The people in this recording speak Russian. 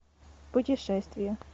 путешествия